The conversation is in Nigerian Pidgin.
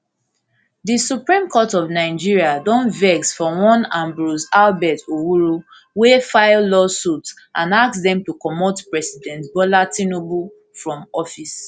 di supreme court of nigeria don vex for one ambrose albert owuru wey file lawsuit and ask dem to comot president bola tinubu from office